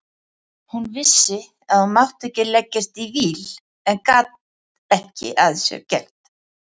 Hún vissi að hún mátti ekki leggjast í víl en gat ekki að sér gert.